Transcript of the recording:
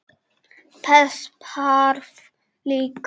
Þess þarf líka.